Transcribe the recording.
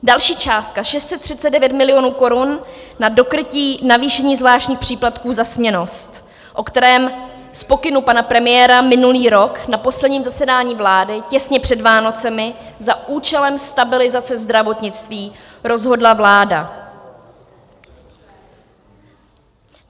Další částka, 639 milionů korun, na dokrytí navýšení zvláštních příplatků za směnnost, o kterém z pokynu pana premiéra minulý rok na posledním zasedání vlády těsně před Vánocemi za účelem stabilizace zdravotnictví rozhodla vláda.